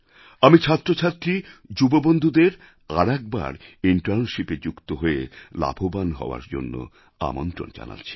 আমি ছাত্রছাত্রী যুববন্ধুদের আবার একবার Internshipএ যুক্ত হয়ে লাভবান হওয়ার জন্য আমন্ত্রণ জানাচ্ছি